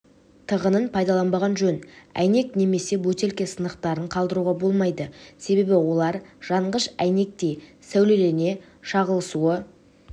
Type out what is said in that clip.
тығынын пайдаланбаған жөн әйнек немесе бөтелке сынықтарын қалдыруға болмайды себебі олар жанғыш әйнектей сәулелене шағылысу